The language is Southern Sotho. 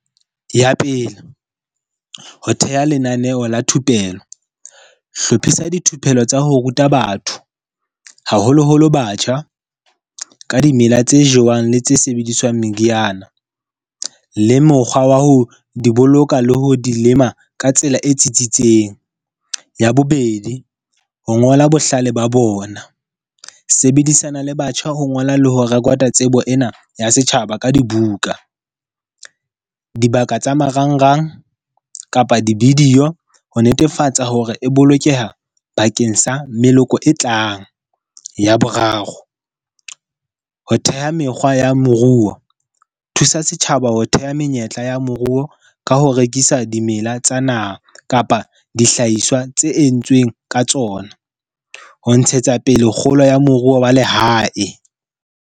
Ya pele, ho theha lenaneo la thupelo. Hlophisa dithupello tsa ho ruta batho, haholoholo batjha ka dimela tse jewang le tse sebediswang meriana, le mokgwa wa ho di boloka le ho di lema ka tsela e tsitsitseng. Ya bobedi, ho ngola bohlale ba bona. Sebedisana le batjha ho ngola le ho rekota tsebo ena ya setjhaba ka dibuka. Dibaka tsa marangrang kapa di-video ho netefatsa hore e bolokeha bakeng sa meloko e tlang. Ya boraro, ho theha mekgwa ya moruo. Thusa setjhaba ho theha menyetla ya moruo ka ho rekisa dimela tsa naha kapa dihlahiswa tse entsweng ka tsona. Ho ntshetsa pele kgolo ya moruo wa lehae.